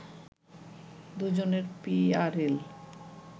দুজনের পিআরএল